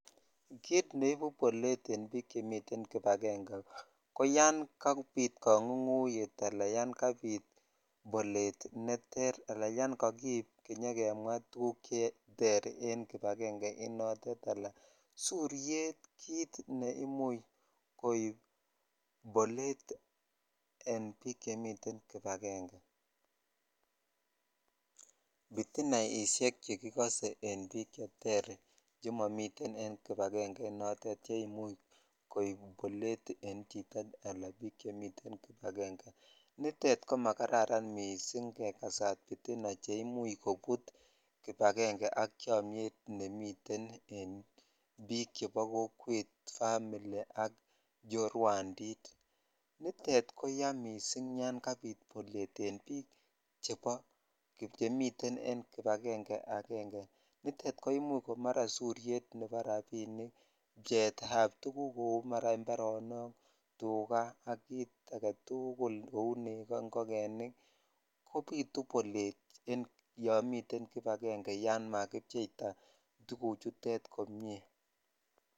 Kit neibu bolet en bik chemiten en kibagenge ko yan kabit kangunguyet ala yan kabit bolet neter ala yan kakiib kemwa tukuk cheter en kibagenge initet ala suryet kit ne imuch koib bolet en bik chemiten kibagenge bitinaidhetmk chekikose en bik cheter chemomiten en kibagenge inotetet ne imuch koib bolet en chito ala bik chemiten en kibagenge aeng nitet ko majraran missing kekasat bitina ch imuch kobut kibagenge ak chomnyet bik chebo kokwet family [,cs] ak chorwandit nitet koya missing yan kabit bolet en bik chemiten en kibagenge ala nitet komara soryet nebo rabinik bcheit ab tukuk mara imparonok , tukaa ak kit agetukul kou nekoo ,ingogenik kobitu bolet yan mieten kibagenge yan makib cheitaa tuguk chutet komie .